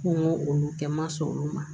Ko n k'olu kɛ n ma sɔn olu ma